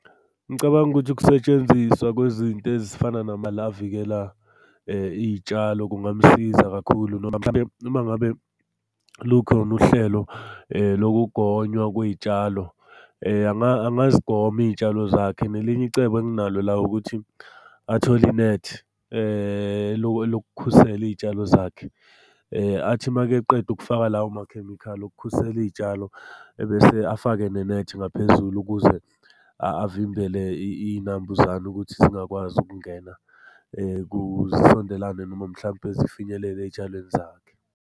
Ngicabanga ukuthi ukusetshenziswa kwezinto ezifana avikela iy'tshalo, kungamsiza kakhulu . Uma ngabe lukhona uhlelo lokugonywa kwey'tshalo, angazigoma iy'tshalo zakhe. Nelinye icebo enginalo la ukuthi athole inethi elokukhusela iy'tshalo zakhe. Athi makeqeda ukufaka lawo makhemikhali okukhusela iy'tshalo, ebese afake nenethi ngaphezulu ukuze avimbele iy'nambuzane ukuthi zingakwazi ukungena zisondelane noma mhlampe zifinyelele ey'tshalweni zakhe.